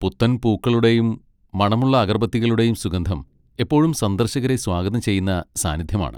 പുത്തൻ പൂക്കളുടെയും മണമുള്ള അഗർബത്തികളുടെയും സുഗന്ധം എപ്പോഴും സന്ദർശകരെ സ്വാഗതം ചെയ്യുന്ന സാന്നിധ്യമാണ്.